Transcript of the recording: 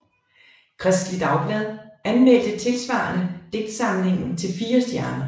Kristeligt Dagblad anmeldte tilsvarende digtsamlingen til fire stjerner